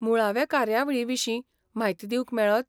मुळावे कार्यावळीविशीं म्हायती दिवंक मेळत?